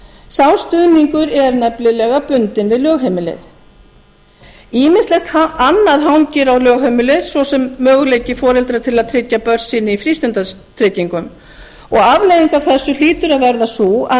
sá stuðningur er nefnilega bundinn við lögheimilið ýmislegt annað hangir á lögheimilið svo sem möguleiki foreldra til að tryggja börn sín frístundatryggingum afleiðing af þessu hlýtur að verða sú að